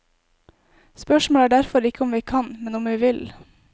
Spørsmålet er derfor ikke om vi kan, men om vi vil.